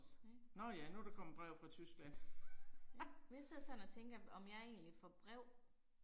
Mh. Mh. Hvis jeg sådan og tænker om jeg egentlig får brev